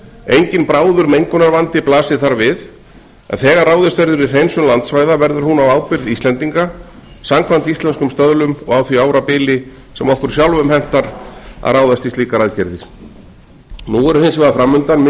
enginn bráður mengunarvandi blasir þar við en þegar ráðist verður í hreinsun landsvæða verður hún á ábyrgð íslendinga samkvæmt íslenskum stöðlum og á því árabili sem okkur sjálfum hentar að ráðast í slíkar aðgerðir nú eru hins vegar fram undan mikil